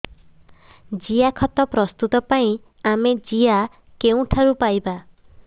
ଜିଆଖତ ପ୍ରସ୍ତୁତ ପାଇଁ ଆମେ ଜିଆ କେଉଁଠାରୁ ପାଈବା